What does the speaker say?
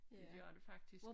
Det gør det faktisk